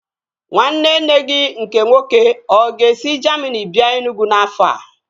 Nwanne nne gị nke nwoke ọ ga-esi Jamini bịa Enugwu n'afọ a?